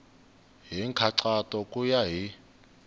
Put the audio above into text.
hi nkhaqato ku ya hi